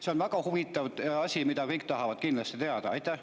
See on väga huvitav asi, mida kõik kindlasti tahavad teada.